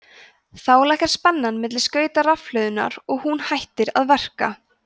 þá lækkar spennan milli skauta rafhlöðunnar og hún hættir að verka